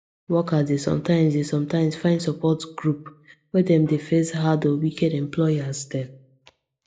workers dey sometimes dey sometimes find support groups when dem dey face hard or wicked employers dem